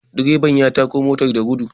direban ya tako motar da gudu